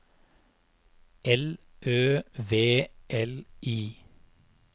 L Ø V L I